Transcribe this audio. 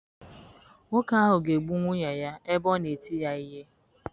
Nwoke ahụ ga-egbu nwunye ya ebe ọ na-eti ya ihe.